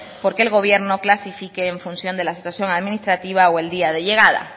porque el gobierno clasifique en función de la situación administrativa o el día de llegada